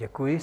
Děkuji.